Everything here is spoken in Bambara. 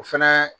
O fɛnɛ